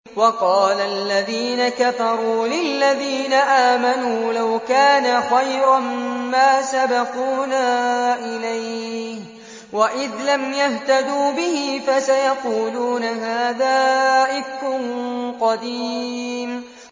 وَقَالَ الَّذِينَ كَفَرُوا لِلَّذِينَ آمَنُوا لَوْ كَانَ خَيْرًا مَّا سَبَقُونَا إِلَيْهِ ۚ وَإِذْ لَمْ يَهْتَدُوا بِهِ فَسَيَقُولُونَ هَٰذَا إِفْكٌ قَدِيمٌ